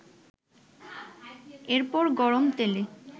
এরপর গরম তেলে